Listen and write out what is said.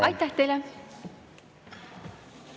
Aitäh teile!